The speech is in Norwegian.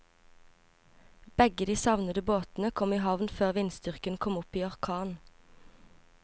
Begge de savnede båtene kom i havn før vindstyrken kom opp i orkan.